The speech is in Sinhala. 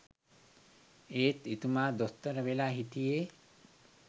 එත් එතුමා දොස්තර වෙලා හිටියේ